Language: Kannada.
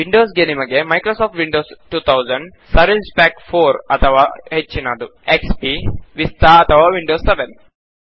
ವಿಂಡೋಸ್ ಗೆ ನಿಮಗೆ ಮೈಕ್ರೋಸಾಫ್ಟ್ ವಿಂಡೋಸ್ 2000 ಸರ್ವಿಸ್ ಪ್ಯಾಕ್ 4 ಅಥವಾ ಹೆಚ್ಚಿನದು ಎಕ್ಸ್ಪಿ ವಿಸ್ತಾ ಅಥವಾ ವಿಂಡೋಸ್ 7